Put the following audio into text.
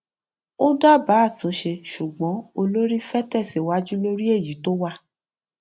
ó dábàá àtúnṣe ṣùgbọn olórí fẹ tẹsíwájú lórí èyí tó wà